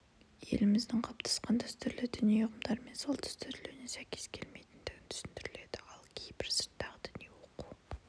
еліміздің қалыптасқан дәстүрлі діни ұғымдары мен салт-дәстүрлеріне сәйкес келмейтіндігі түсіндіріледі ал кейбір сырттағы діни оқу